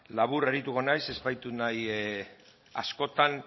labur arituko naiz ez baitut nahi askoan